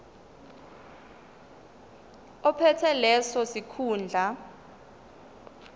ophethe leso sikhundla